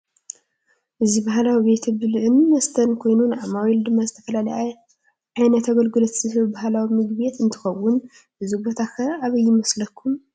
እዚ ባህላዊ ቤተ ብልዕን መስተን ኮይኑ ንዓማዊሉ ድማ ዝተፋለላዩ ዓይነት አገልግሎታት ዝህብ ባህላዊ ምግቤት እንትክን እዚ ቦታ ከ አበይ ይምስለኩም ?